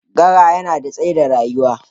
GRA yana da tsadar rayuwa.